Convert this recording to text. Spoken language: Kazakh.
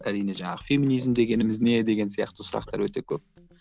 әрине жаңағы феминизм дегеніміз не деген сияқты сұрақтар өте көп